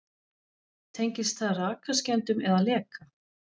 Tengist það rakaskemmdum eða leka?